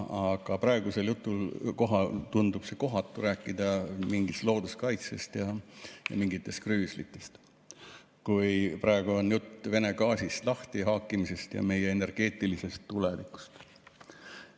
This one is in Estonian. Aga praegusel juhul tundub kohatu rääkida mingist looduskaitsest ja mingites krüüslitest, kui jutt on Vene gaasist lahtihaakimisest ja meie energeetilisest tulevikust.